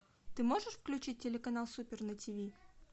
ты можешь включить телеканал супер на тиви